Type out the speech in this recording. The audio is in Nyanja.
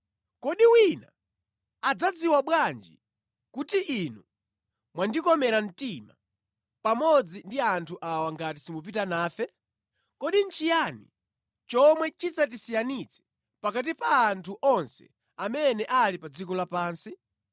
Kodi wina adzadziwa bwanji kuti inu mwandikomera mtima pamodzi ndi anthu awa ngati simupita nafe? Kodi nʼchiyani chomwe chidzatisiyanitse pakati pa anthu onse amene ali pa dziko lapansi?”